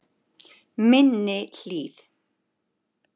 Minni Hlíð